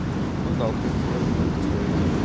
ну да украинский язык он такой